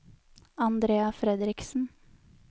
Andrea Fredriksen